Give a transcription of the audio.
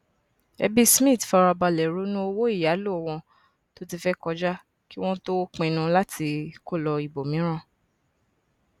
ẹbí smith farabalẹ ronú owó ìyálò wọn tó ti fẹ kọjá kí wón tó pinnu láti kó lọ ibọmíràn